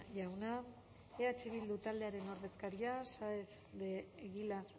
jauna eh bildu taldearen ordezkaria saez de egilaz